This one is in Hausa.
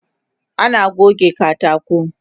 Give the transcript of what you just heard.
Ana goge katako